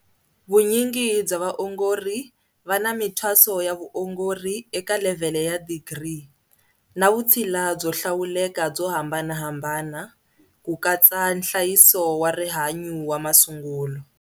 Vunyingi bya vaongori va na mithwaso ya vuongori eka levhele ya digiri, na vutshila byo hlawuleka byo hambanahambana, ku katsa nhlayiso wa rihanyu wa masungulo.